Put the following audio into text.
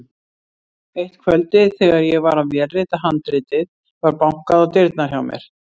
Eitt kvöldið þegar ég var að vélrita handritið var bankað á dyrnar hjá mér.